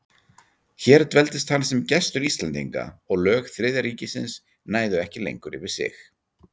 Hér dveldist hann sem gestur Íslendinga, og lög Þriðja ríkisins næðu ekki lengur yfir sig.